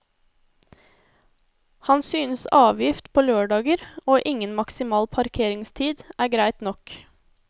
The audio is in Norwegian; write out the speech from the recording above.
Han synes avgift på lørdager og ingen maksimal parkeringstid er greit nok.